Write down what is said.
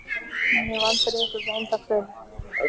Ég hef aldrei hitt þetta eintak fyrr.